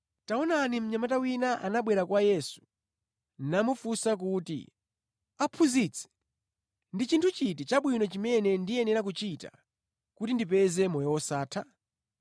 Taonani mnyamata wina anabwera kwa Yesu namufunsa kuti, “Aphunzitsi, ndi chinthu chiti chabwino chimene ndiyenera kuchita kuti ndipeze moyo wosatha?”